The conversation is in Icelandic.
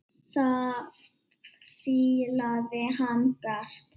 Það fílaði hann best.